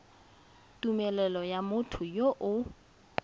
tumelelo ya motho yo o